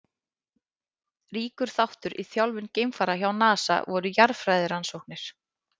Ríkur þáttur í þjálfun geimfara hjá NASA voru jarðfræðirannsóknir.